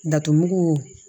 Dato mugu